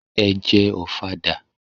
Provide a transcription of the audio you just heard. Ẹ jẹ Ọ̀fadà!